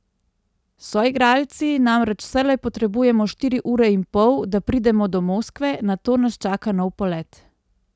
S soigralci namreč vselej potrebujemo štiri ure in pol, da pridemo do Moskve, nato nas čaka nov polet.